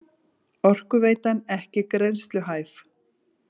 Orkuveitan ekki greiðsluhæf